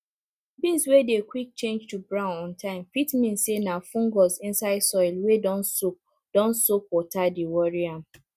beans wey dey quick change to brown on time fit mean say na fungus inside soil wey don soak don soak water dey worry am